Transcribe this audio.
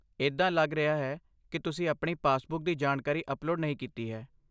ਇੱਦਾਂ ਲੱਗ ਰਿਹਾ ਹੈ ਕਿ ਤੁਸੀਂ ਆਪਣੀ ਪਾਸਬੁੱਕ ਦੀ ਜਾਣਕਾਰੀ ਅਪਲੋਡ ਨਹੀਂ ਕੀਤੀ ਹੈ।